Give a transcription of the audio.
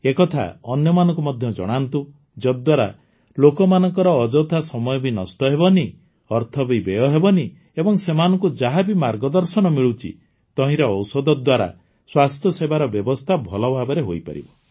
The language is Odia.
ଏକଥା ଅନ୍ୟମାନଙ୍କୁ ମଧ୍ୟ ଜଣାନ୍ତୁ ଯଦ୍ଦ୍ୱାରା ଲୋକମାନଙ୍କର ଅଯଥା ସମୟ ବି ନଷ୍ଟ ହେବନାହିଁ ଅର୍ଥ ବି ବ୍ୟୟ ହେବନାହିଁ ଏବଂ ସେମାନଙ୍କୁ ଯାହା ବି ମାର୍ଗଦର୍ଶନ ମିଳୁଛି ତହିଁରେ ଔଷଧ ଦ୍ୱାରା ସ୍ୱାସ୍ଥ୍ୟସେବାର ବ୍ୟବସ୍ଥା ଭଲ ଭାବରେ ହୋଇପାରିବ